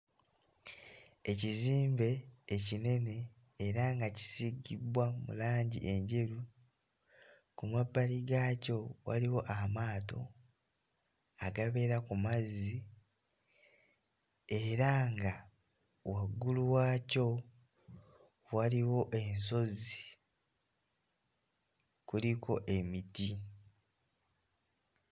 Ekizimbe ekinene era nga kisiigibbwa mu langi enjeru ku mabbali gaakyo waliwo amaato agabeera ku mazzi era nga waggulu waakyo waliwo ensozi kuliko emiti.